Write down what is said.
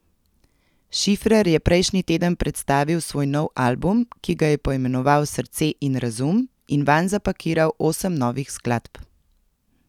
Šifrer je prejšnji teden predstavil svoj nov album, ki ga je poimenoval Srce in razum, in vanj zapakiral osem novih skladb.